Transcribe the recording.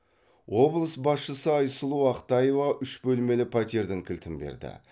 облыс басшысы айсұлу ақтаева үш бөлмелі пәтердің кілтін берді